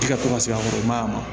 I ka to ka se an kɔrɔ mayan